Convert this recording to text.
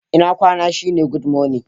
Ina kwana shi ne"Good morning."